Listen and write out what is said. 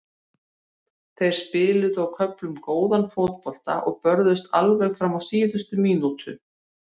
Þeir spiluðu á köflum góðan fótbolta og börðust alveg fram á síðustu mínútu.